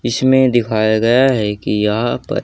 इसमें दिखाया गया है कि यहा पर--